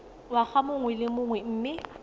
ngwaga mongwe le mongwe mme